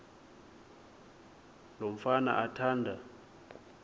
lo mfana athanda